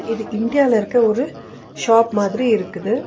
இது இந்தியால இருக்க ஒரு ஷாப் மாதிரி இருக்குது.